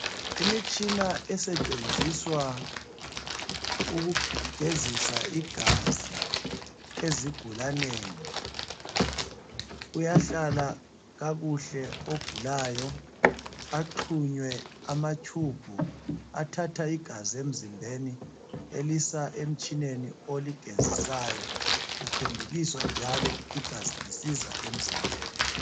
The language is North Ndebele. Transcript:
Imitshina esetshenziswa ukugezisa igazi ezigulaneni. Uyahlala kuhle ogulayo, axhunywe amatshubhu athatha igazi emzimbeni elisa emtshineni oligezisayo, kuphendukiswa njalo igazi lisiza emzimbeni.